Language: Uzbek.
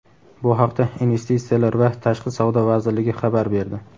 Bu haqda Investitsiyalar va tashqi savdo vazirligi xabar berdi.